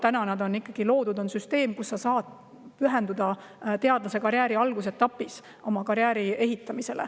Täna on ikkagi loodud süsteem, kus sa saad pühenduda teadlaskarjääri algusetapis karjääri ehitamisele.